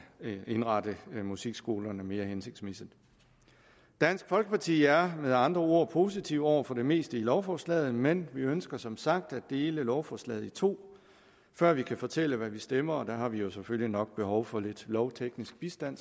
indrette musikskolerne mere hensigtsmæssigt dansk folkeparti er med andre ord positive over for det meste af lovforslaget men vi ønsker som sagt at dele lovforslaget i to før vi kan fortælle hvad vi stemmer og der har vi jo selvfølgelig nok behov for lidt lovteknisk bistand